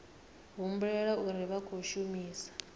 humbulela uri vha khou shumisa